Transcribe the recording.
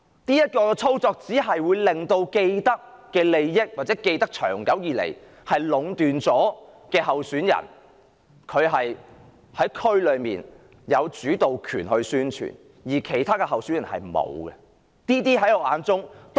這種操作只會令既得利益者或長期壟斷利益的候選人，在社區中有主導權進行宣傳，而其他候選人卻沒有。